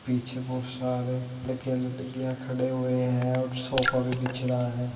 पीछे बहुत सारे लड़के लड़कियां खड़े हुए हैं और सोफ़ा भी बीछ रहा है।